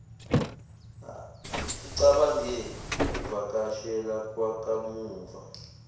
ucabange ukuvakashela kwakamuva